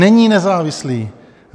Není nezávislý!